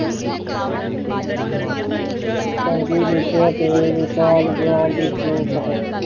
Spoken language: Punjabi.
ਚੰਗੀ ਵਿਦਿਆ ਤੇ ਵਿਸ਼ਾਲ ਗਿਆਨ ਦੀ ਜਰੂਰਤ ਹੈ